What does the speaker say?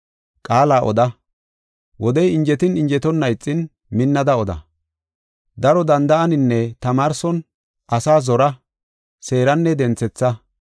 Qaala oda; wodey injetin injetonna ixin minnada oda. Daro danda7aninne tamaarson asaa zora seeranne denthetha.